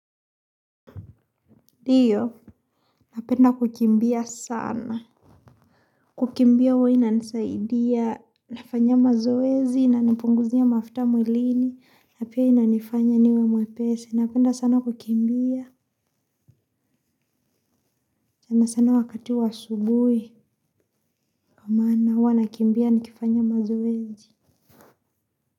Ndiyo, napenda kukimbia sana. Kukimbia huwa inanisaidia, nafanya mazoezi, nanipunguzia mafuta mwilini, na pia inanifanya niwe mwepesi. Napenda sana kukimbia, sana sana wakati wa asubuhi. Kwa maana huwa nakimbia nikifanya mazoezi.